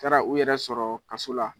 Taara u yɛrɛ sɔrɔɔ kaso la